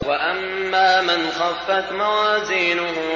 وَأَمَّا مَنْ خَفَّتْ مَوَازِينُهُ